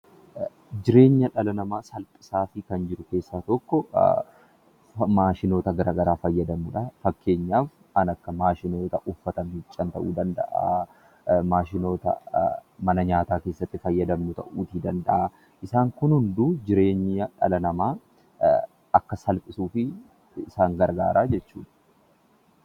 Jireenya dhala namaa salphisuu fi gaggeessuu keessaa tokko maashinoota garaagaraa fayyadamuudha. Kan akka faashinii, uffata ta'uu danda'a. Maashinoota mana nyaataa keessatti itti fayyadamnu ta'uu ni danda'a. Isaan kun hunduu jireenya dhala namaa akka salphisuuf kan gargaaran jechuudha.